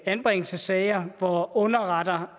anbringelsessager hvor underretter